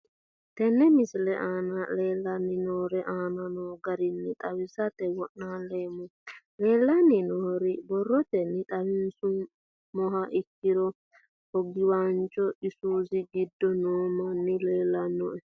Tene misile aana leelanni nooerre aane noo garinni xawisate wonaaleemmo. Leelanni nooerre borrotenni xawisummoha ikkiro hoogawancho isuze gidde noo manni leelanoe.